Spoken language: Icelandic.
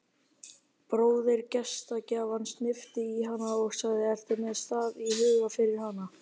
Bróðir gestgjafans hnippti í hana og sagði: ertu með stað í huga fyrir hana?